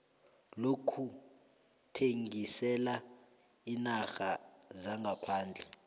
lokuthengisela iinarha zangaphandle